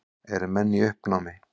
Eru menn í uppnámi?